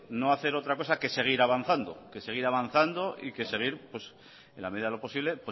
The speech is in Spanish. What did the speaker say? no hacer otra cosa que seguir avanzando y que seguir en la medida de lo posible